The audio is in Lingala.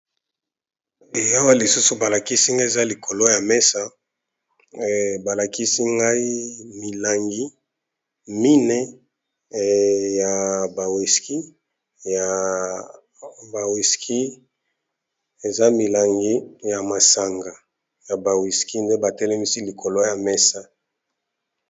Ee awa lisusu balakisi nga eza likolo ya mesa balakisi ngai milangi mine ya bawiski eza milangi ya masanga ya bawiski nde batelemisi likolo ya mesa.